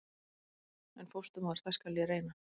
En fósturmóðir- það skal ég reyna.